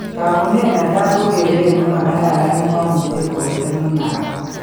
Taakunet netai ko keret ne makararan ne mamuche kowelel munaok.